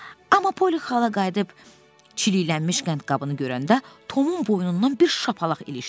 Amma Poli xala qayıdıb çiliklənmiş qəndqabını görəndə Tomun boynundan bir şapalaq ilişdirdi.